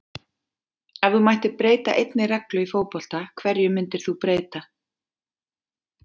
Ef þú mættir breyta einni reglu í fótbolta, hverju myndir þú breyta?